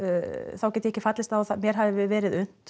þá get ég ekki fallist á að mér hafi verið unnt